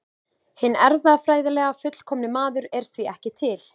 Hinn erfðafræðilega fullkomni maður er því ekki til.